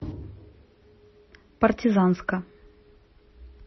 партизанска